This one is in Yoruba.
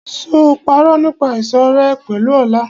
Ṣé o parọ́ nípa ìṣọ̀rẹ́ ẹ pẹ̀lú Ọlá?